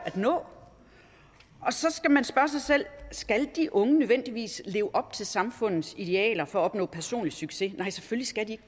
at nå og så skal man spørge sig selv skal de unge nødvendigvis leve op til samfundets idealer for at opnå personlig succes nej selvfølgelig skal de